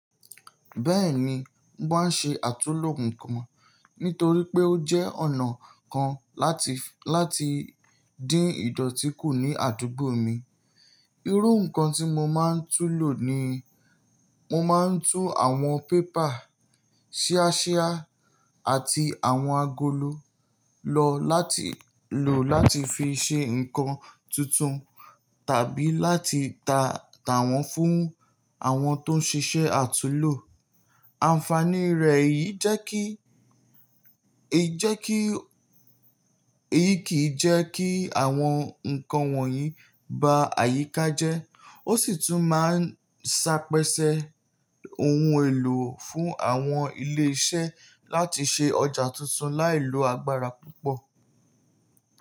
Bẹ́ẹ̀ni, mo máa ń ṣe àtulò ǹkan nítorí pé ó jẹ́ ọ̀nà kan láti, láti dín ìdọ̀tí kù ní àdúgbò mi. Irú ǹkan tí mo máa ń tú lò ni mo máa ń tú àwọn pépà, ṣíáṣíá àti àwọn agolo lọ láti lò láti fi ṣe ǹkan tuntun tàbí láti ta, ta wọn fún àwọn tó ń ṣiṣẹ́ àtulò. Ànfàní rẹ̀ èyí jẹ́ kí, èyí jẹ́ kí, èyí kì í jẹ́ kí àwọn ǹkan wọ̀nyí ba àyíká jẹ́. Ó sì tún máa ń sápẹ́ṣẹ́ ohun èlò fún àwọn ilé iṣẹ́ láti ṣe ọjà tuntun láì lo agbára púpọ̀.